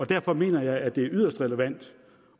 derfor mener jeg at det er yderst relevant